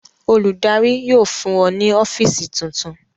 Olùdarí yóò fún ọ ní ọ́fíísì tuntun.